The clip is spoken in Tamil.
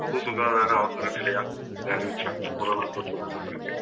பொது சுகாதாரம் அவசர நிலையா இதை அறிவிச்சாங்க corona தொற்று வந்த பிறகு